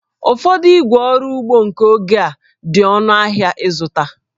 Ụfọdụ ígwè ọrụ ugbo nke oge a dị ọnụ ahịa ịzụta